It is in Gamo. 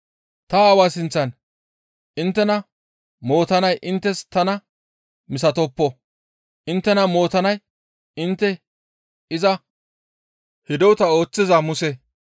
Ta Aawa sinththan inttena mootanay inttes tana misatoppo; inttena mootanay intte iza hidota ooththiza Muse.